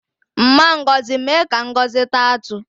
Mma Ngozi mee ka Ngozi taa atụ